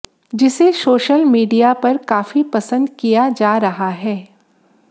जिसे social media पर काफी पसंद किया जा रहा है